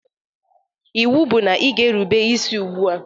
Iwu bu na ị ga-erube isi ugbua!